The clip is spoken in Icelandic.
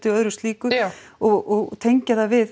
og öðru slíku og tengja við